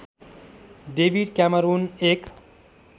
David Cameron एक